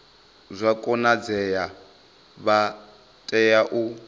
zwa konadzea vha tea u